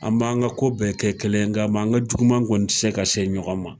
An b'an ka ko bɛɛ kɛ kelen ye. Nga an ka juguman kɔni te se ka se ɲɔgɔn ma.